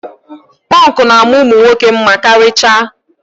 Pọnkụ na-ama ụmụ nwoke mma karịchaa.